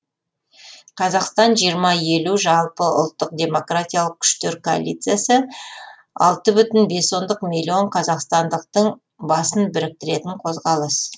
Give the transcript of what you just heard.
қазақстан жиырма елу жалпыұлттық демократиялық күштер коалициясы алты бүтін бес ондық миллион қазақстандықтың басын біріктіретін қозғалыс